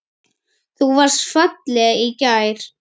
Þú varst falleg í gær.